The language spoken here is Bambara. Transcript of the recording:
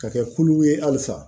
Ka kɛ kulu ye halisa